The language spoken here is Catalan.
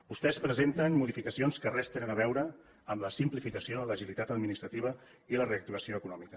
vostès presenten modificacions que res tenen a veure amb la simplificació l’agilitat administrativa i la reactivació econòmica